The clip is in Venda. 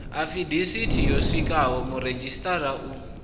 afidavithi yo swikiswaho muredzhisitarara u